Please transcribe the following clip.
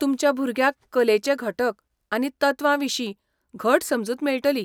तुमच्या भुरग्याक कलेचे घटक आनी तत्वां विशीं घट समजूत मेळटली.